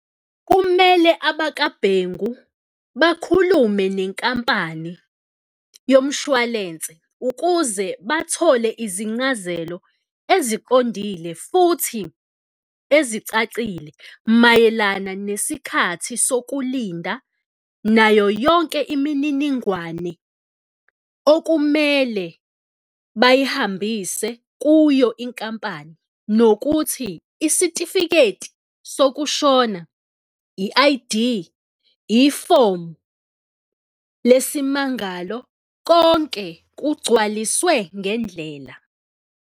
Kumele abakaBhengu bakhulume nenkampani yomshwalense ukuze bathole izincazelo eziqondile futhi ezicacile mayelana nesikhathi sokulinda nayo yonke imininingwane okumele bayihambise kuyo inkampani nokuthi isitifiketi sokushona, i-I_D, ifomu lesimangalo, konke kugcwaliswe ngendlela.